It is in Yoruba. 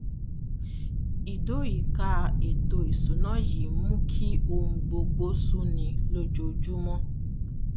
ìdóòyìká ètò ìṣúná yìí ń mú kí ohun gbogbo sú ni lójoojúmọ